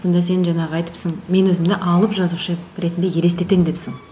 сонда сен жаңағы айтыпсың мен өзімді алып жазушы ретінде елестетемін депсің